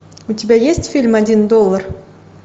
у тебя есть фильм один доллар